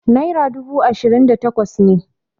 naira dubu ashirin da takwas ne